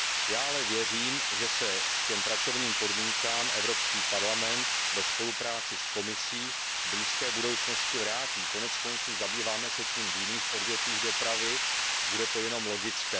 Já ale věřím, že se k těm pracovním podmínkám Evropský parlament ve spolupráci s Komisí v blízké budoucnosti vrátí, konec konců zabýváme se tím v jiných odvětvích dopravy, bude to jenom logické.